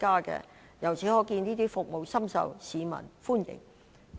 由此可見，這些服務深受市民歡迎。